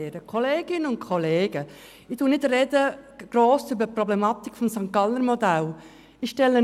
Kolleginnen und Kollegen, ich spreche nicht zu den Problematiken des Modells aus St. Gallen.